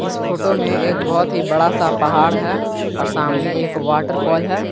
इस फोटो में एक बहोत ही बड़ा सा पहाड़ है और सामने एक वॉटरफॉल है।